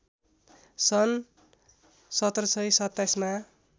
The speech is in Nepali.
सन् १७२७ मा